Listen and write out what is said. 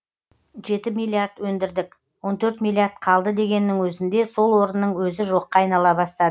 жеті миллиард өндірдік он төрт миллиард қалды дегеннің өзінде сол орынның өзі жоққа айнала бастады